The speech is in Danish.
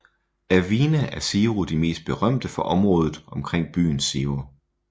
Af vine er Ciro de mest berømte fra området omkring byen Ciro